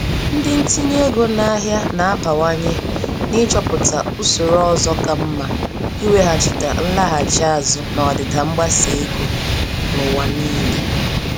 Ndị ntinye ego n'ahịa na-abawanye n'ịchọpụta usoro ọzọ ka mma iweghachite nlaghachi azụ n'ọdịda mgbasa ego n'ụwa niile.